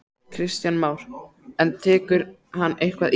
Kristján Már: En tekur hann eitthvað í?